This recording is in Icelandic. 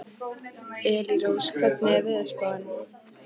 Elírós, hvernig er veðurspáin?